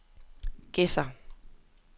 Gedser